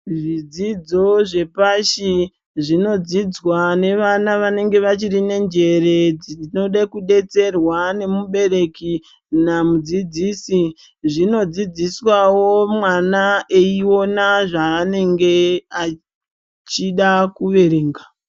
Zvidzidzo zvepashi zvinodzidzwa nevana vanenge vachiri nenjere vanode kudetserwa nemubereki namudzidzisi zvinodzidziswawo mwana eiona zvaanenge achida kuverenga.